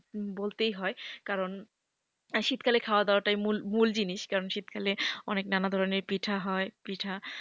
বলতেই হয় কারণ শীতকালে খাওয়া দাওয়াটাই মূল মূল জিনিস কারণ শীতকালে আনেক নানা ধরনের পিঠা হয়।